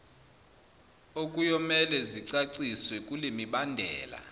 okuyomele zicaciswe kulemibandela